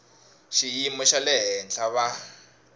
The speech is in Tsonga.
xiyimo xa le henhla va